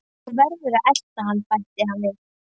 Þú verður að elta hann bætti hann við.